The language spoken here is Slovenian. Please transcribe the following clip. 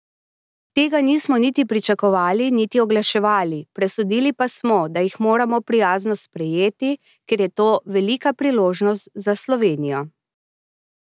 Tega nismo niti pričakovali niti oglaševali, presodili pa smo, da jih moramo prijazno sprejeti, ker je to velika priložnost za Slovenijo.